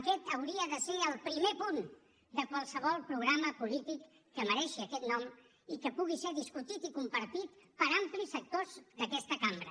aquest hauria de ser el primer punt de qualsevol programa polític que mereixi aquest nom i que pugui ser discutit i compartit per amplis sectors d’aquesta cambra